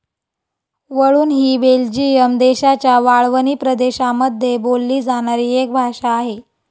वळून हि बेल्जियम देशाच्या वाळवणी प्रदेशामध्ये बोलली जाणारी एक भाषा आहे.